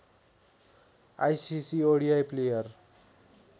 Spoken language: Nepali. ICC ODI player